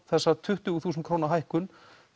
þessa tuttugu þúsund króna hækkun